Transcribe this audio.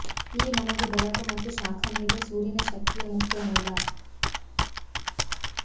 ಈ ನಮಗೆ ಬೆಳಕು ಮತ್ತು ಶಾಖ ನೀಡುವ ಸೂರ್ಯನ ಶಕ್ತಿಯ ಮುಖ್ಯ ಮೂಲ